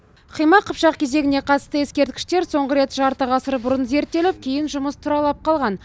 қимақ қыпшақ кезеңіне қатысты ескерткіштер соңғы рет жарты ғасыр бұрын зерттеліп кейін жұмыс тұралап қалған